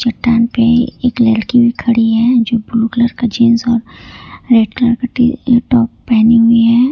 चट्टान पे एक लड़की खड़ी है जो ब्लू कलर का जींस और रेड कलर टॉप पहनी हुई है।